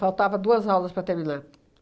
duas aulas para terminar.